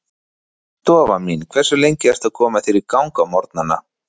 Stofan mín Hversu lengi ertu að koma þér í gang á morgnanna?